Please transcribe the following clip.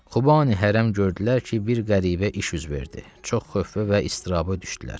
Xubani hərəm gördülər ki, bir qəribə iş yüz verdi, çox xövf və istiraba düşdülər.